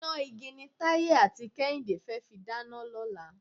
Iná igi ni Táyé àti Kẹ́hìndé fẹ́ fi dáná lọ́la.